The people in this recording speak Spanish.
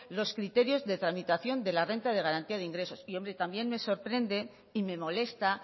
los criterios de tramitación de la renta de garantía de ingresos hombre y también me sorprende y me molesta